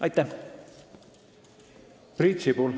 Aitäh!